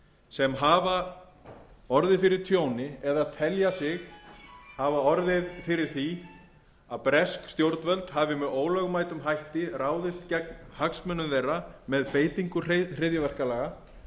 sem hafa orðið fyrir tjóni eða telja sig hafa orðið fyrir því að bresk stjórnvöld hafi með ólögmætum hætti ráðist gegn hagsmunum þeirra með beitingu hryðjuverkalaga